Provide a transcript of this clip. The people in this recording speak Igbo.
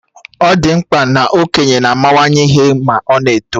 Ọ di mkpa na okenye na amawanye ihe ma ọ na-eto